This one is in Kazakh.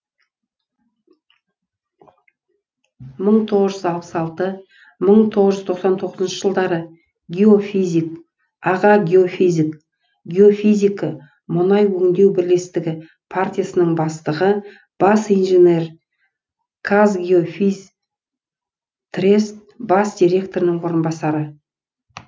мың тоғыз үз алпыс алты мың тоғыз жүз тоқсан тоғыз жылдары геофизик аға геофизик геофизика мұнай өңдеу бірлестігі партиясының бастығы бас инженер казгеофизтрест бас директорының орынбасары